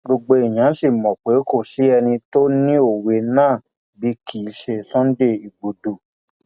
gbogbo èèyàn sì mọ pé kò sí ẹni tó ni òwe náà bí kì í ṣe sunday igbodò